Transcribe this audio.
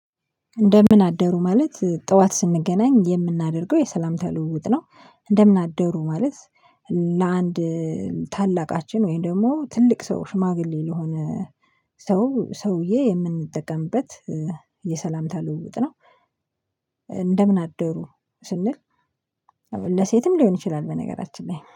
እንደምን አደሩ ማለት ጠዋት ስንገናኝ የምናደርገው የሰላምተ ልውውጥ ነው። እንደምን አደሩ ማለት ለአንድ ታላቃችን ወይም ደግሞ ትልቅ ሰው ሽማግሌ ለሆነ ሰው ሰውዬ የምንጠቀምበት የሰላምታ ልውውጥ ነው። እንደምን አደሩ ስንል ለሴትም ሊሆን ይችላል በነገራችን ላይ